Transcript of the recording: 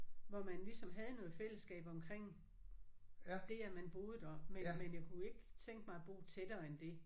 Hvor man ligesom havde noget fællesskab omkring det at man boede der men men jeg kunne ikke tænke mig at bo tættere end det